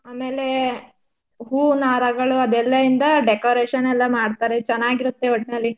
ಆಮೇಲೆ ಹೂನಾರಗಳು ಅದೆಲ್ಲ ಇಂದ decoration ಎಲ್ಲ ಮಾಡ್ತಾರೆ ಚನಾಗಿರುತ್ತೆ ಒಟ್ನಲ್ಲಿ.